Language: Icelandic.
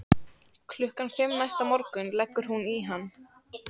Klukkan fimm næsta morgun leggur hún í hann.